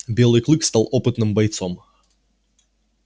белый клык стал опытным бойцом